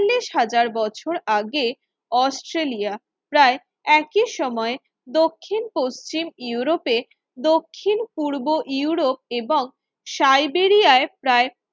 ল্লিশ হাজার বছর আগে অস্ট্রেলিয়া প্রায় একই সময়ে দক্ষিণ-পশ্চিম ইউরোপে দক্ষিণ পূর্ব ইউরোপ এবং সাইবেরিয়ায় প্রায়